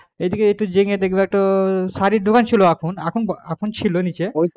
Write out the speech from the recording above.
এদিকে একটু জেনে দেখবে একটা শাড়ির দোকান ছিল এখন এখন এখন ছিল নিচে এখন নেই,